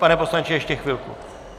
Pane poslanče, ještě chvilku.